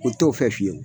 O t'o fɛ fiyewu